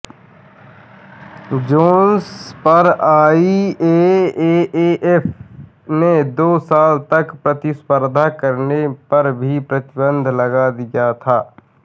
Jones पर IAAF ने दो साल तक प्रतिस्पर्धा करने पर भी प्रतिबंध लगा दिया था